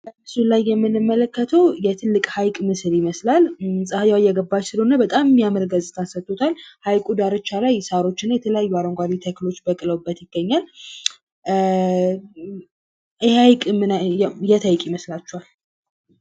በምስሉ ላይ የምንመለከተው የትልቅ ሀይቅ መስል ይመስላል። ጽሀዩአ እየገባች ስለሆነ በጣም የሚያምር ገጽታ ሰጥቶታል። ሐይቁ ድራቻ ላይ ሳሮችና የተለያዩ አረንጓዴ ተክሎች በቅለውበት ይገኛል። ይኼ ሀይቅ የት ሀይቅ ይመስላችኋል?